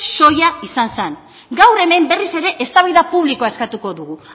soila izan zen gaur hemen berriz ere eztabaida publikoa eskatuko dugu